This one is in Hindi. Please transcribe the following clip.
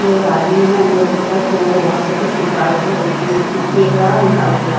एक आदमी है अंदर की तरफ जो वहां से कुछ निकाल के देख रहा है और निकाल के ला--